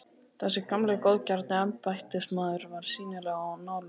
Þessi gamli og góðgjarni embættismaður var sýnilega á nálum.